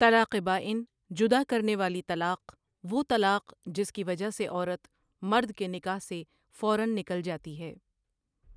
طلاق بائن جدا کرنے والی طلاق وہ طلاق جس کی وجہ سے عورت، مردکے نکاح سے فوراًنکل جاتی ہے